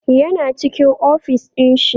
Yana cikin ofis ɗin shi